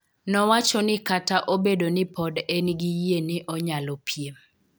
Nowacho ni Kata obedo ni pod engi yie ni onyalo piem